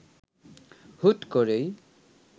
হুট করেই